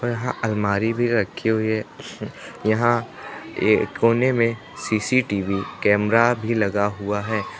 यहां अलमारी भी रखी हुई है यहां ये कोने में सी_सी_टी_वी कैमरा भी लगा हुआ है।